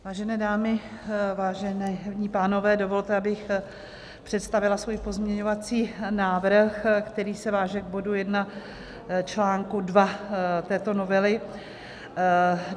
Vážené dámy, vážení pánové, dovolte, abych představila svůj pozměňovací návrh, který se váže k bodu 1 článku 2 této novely.